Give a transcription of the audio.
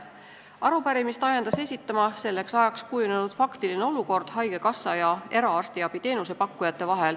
Arupärimist ajendas esitama selleks ajaks kujunenud faktiline olukord haigekassa ja eraarstiabi teenuse pakkujate vahel.